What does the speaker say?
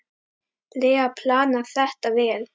lega planað þetta vel.